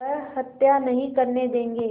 वह हत्या नहीं करने देंगे